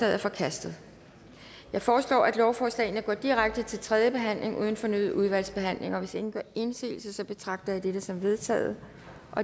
er forkastet jeg foreslår at lovforslagene går direkte til tredje behandling uden fornyet udvalgsbehandling hvis ingen gør indsigelse betragter jeg dette som vedtaget